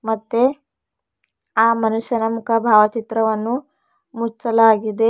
ಮತ್ತೆ ಆ ಮನುಷ್ಯನ ಮುಖ ಭಾವಚಿತ್ರವನ್ನು ಮುಚ್ಚಲಾಗಿದೆ.